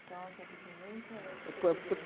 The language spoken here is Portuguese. Então, a sua descendência é de português. é portu portu